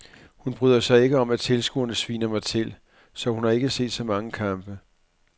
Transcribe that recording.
Hun bryder sig ikke om at tilskuerne sviner mig til, så hun har ikke set så mange kampe.